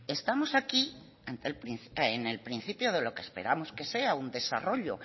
estamos aquí en el principio de lo que esperamos que sea un desarrollo